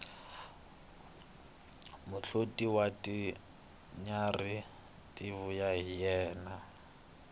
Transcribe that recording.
muhloti wa tinyarhi ti vuya hi yena